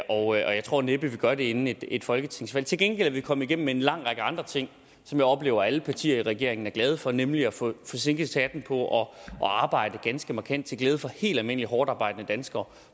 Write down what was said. og jeg tror næppe vi gør det inden et folketingsvalg til gengæld er vi kommet igennem med en lang række andre ting som jeg oplever at alle partier i regeringen glade for nemlig at få sænket skatten på at arbejde ganske markant til glæde for helt almindelige hårdtarbejdende danskere